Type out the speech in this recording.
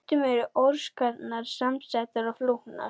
Stundum eru orsakirnar samsettar og flóknar.